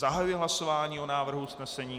Zahajuji hlasování o návrhu usnesení.